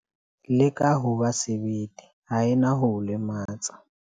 Leka ho ba sebete, ha e na ho o lematsa.